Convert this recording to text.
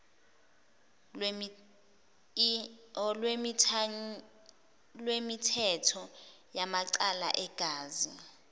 lwemithetho yamacala egazi